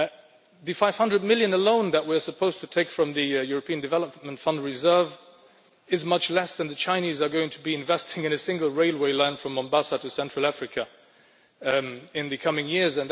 The EUR 500 million alone that we are supposed to take from the European Development Fund reserve is much less than the Chinese are going to be investing in a single railway line from Mombasa to Central Africa in the coming years.